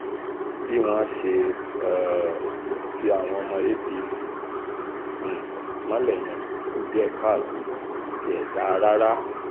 bí wọ́n ṣe um ti àwọn ọmọ apc um mọ́lẹ̀ yẹn kù díẹ̀ káàtó kò tiẹ̀ dáa rárá